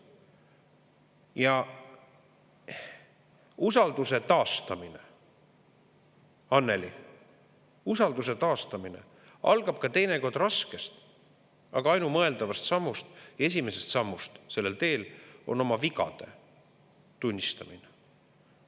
Ja usalduse taastamine, Annely, algab teinekord raskest, aga ainumõeldavat sammust, esimesest sammust sellel teel, mis on oma vigade tunnistamine.